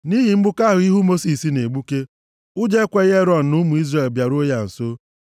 Nʼihi mgbuke ahụ ihu Mosis na-egbuke, ụjọ ekweghị Erọn na ụmụ Izrel bịaruo ya nso.